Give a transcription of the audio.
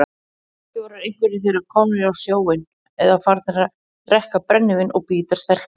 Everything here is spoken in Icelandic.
Kannski voru einhverjir þeirra komnir á sjóinn eða farnir að drekka brennivín og bíta stelpur.